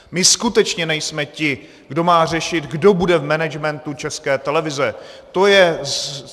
My skutečně nejsme ti, kdo má řešit, kdo bude v managementu České televize.